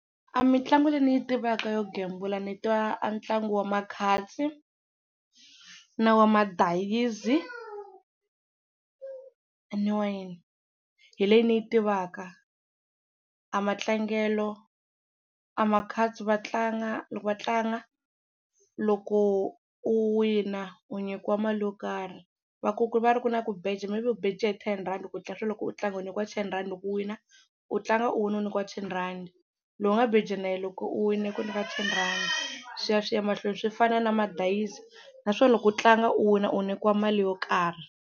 A mitlangu leyi ni yi tivaka yo gembula ni tiva a ntlangu wa ma-cards na wa madayizi ene hi leyi ni yi tivaka. A matlangelo, a ma-cards va tlanga loko va tlanga loko u wina u nyikiwa mali yo karhi va ku ku va ri ku na ku beja maybe u beje hi ten rhandi loko loko u tlanga u nyikiwa ten rhandi loko u wina u tlanga u wina u nyikiwa ten rhandi, lowu nga beja na yena loko u winile u ku nyika ten rhandi swi ya swi ya emahlweni swi fana na madayizi naswona loko u tlanga u wina u nyikiwa mali yo karhi.